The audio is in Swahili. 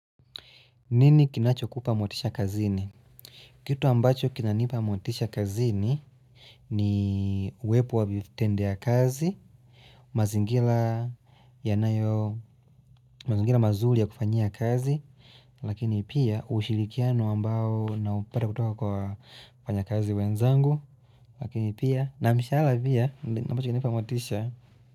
Nini kinachokupa motisha kazini? Kitu ambacho kinanipa motisha kazini, ni uwepo wa mtendea kazi, mazingira mazingira mazuri ya kufanyia kazi, lakini pia ushirikiano ambao naupata kutoka kwa wafanyakazi wenzangu, lakini pia na mshahara pia ambacho kinanipa motisha.